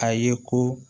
A ye ko